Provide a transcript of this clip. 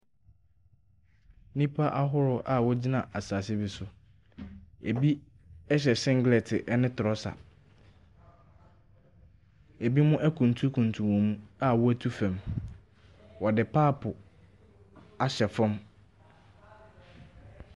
Nnipa ahorow a wɔgyina asaase bi so, ebi ɛhyɛ senglɛɛte ɛne trɔsa. Ebimo akuntun kuntun wɔn mu a watu fɛm, wɔde paapo ahyɛ fɛm.